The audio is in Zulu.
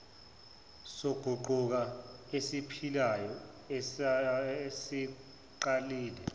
soguquko esiphilayo esesiqalile